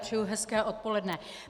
Přeji hezké odpoledne.